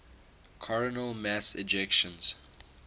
coronal mass ejections